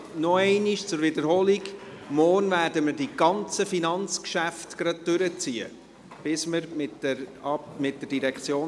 Als Wiederholung: Wir werden morgen die Finanzgeschäfte gleich durchziehen, bis wir mit allen Geschäften der FIN durch sind.